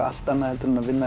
allt annað heldur en að vinna